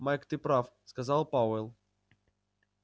майк ты прав сказал пауэлл